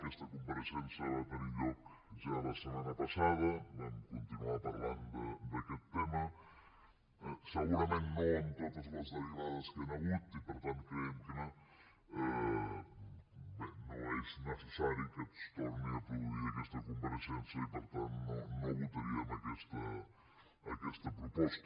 aquesta compareixença va tenir lloc ja la setmana passada vam continuar parlant d’aquest tema segurament no amb totes les derivades que hi han hagut i per tant creiem que bé no és necessari que es torni a produir aquesta compareixença i per tant no votaríem aquesta proposta